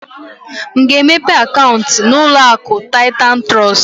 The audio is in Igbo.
M ga-emepe akaunti na uloaku Titan Trust?